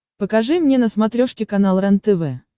покажи мне на смотрешке канал рентв